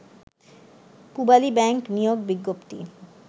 Pubali bank নিয়োগ বিজ্ঞপ্তি